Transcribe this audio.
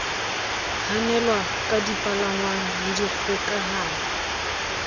hanelwa ka dipalangwang le dikgokahanyo